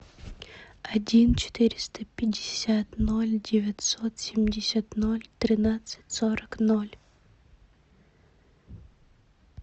один четыреста пятьдесят ноль девятьсот семьдесят ноль тринадцать сорок ноль